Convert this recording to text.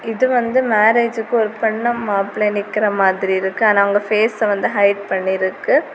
இது வந்து மேரேஜ்க்கு ஒரு பொன்னும் மாப்பிள்ளையும் நிக்கிற மாதிரி இருக்கு ஆனா அவுங்க ஃபேஸ் ஹிட் பண்ணி இருக்கு.